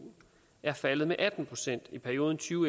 er faldet med atten procent i perioden to